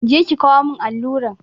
Je ki kawo mun alluran!